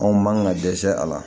Anw man ka dɛsɛ a la